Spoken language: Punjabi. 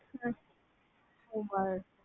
ਵਾਹ